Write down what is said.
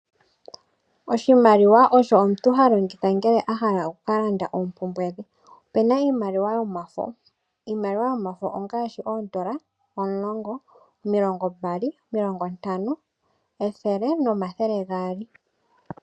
Oshimaliwa osho omuntu ha longitha ngele ahala okuka landa oompumbwe dhe. Opena iimaliwa yomafo, iimaliwa yomafo ongaashi $10, $20, $50, $100 no$200.